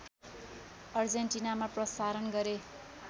अर्जेन्टिनामा प्रशारण गरे